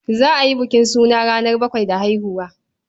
Za a yi bukin suna ranar bakwai da haihuwa.